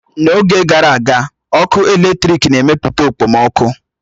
N'oge gara aga, ọkụ eletrik na-emepụta okpomọkụ.